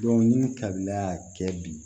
ni kabila y'a kɛ bi